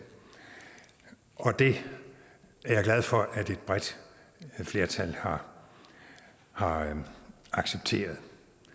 og det er jeg glad for at et bredt flertal har har accepteret